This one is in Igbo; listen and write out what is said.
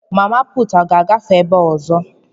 Mama puutu a ga-agafe ebe a ọzọ?